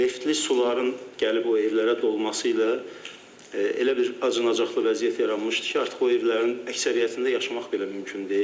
Neftli suların gəlib o evlərə dolması ilə elə bir acınacaqlı vəziyyət yaranmışdı ki, artıq o evlərin əksəriyyətində yaşamaq belə mümkün deyil.